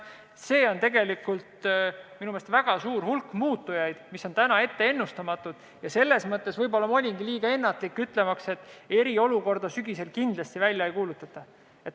Siin on tegelikult väga suur hulk muutujaid, mis täna on ennustamatud, ja selles mõttes ma võib-olla olingi liiga ennatlik, kui ütlesin, et eriolukorda sügisel kindlasti välja ei kuulutata.